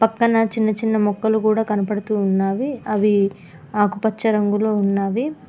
పక్కనా చిన్న చిన్న మొక్కలు కూడా కనపడుతూ వున్నావి అవి ఆకుపచ్చ రంగులో ఉన్నాది.